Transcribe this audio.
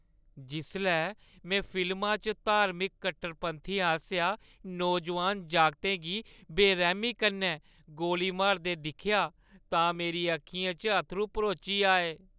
जिसलै में फिल्मा च धार्मिक कट्टरपंथियें आसेआ नौजवान जागतै गी बेरैह्‌मी कन्नै गोली मारदे दिक्खेआ तां मेरी अक्खियें च अत्थरूं भरोची आए।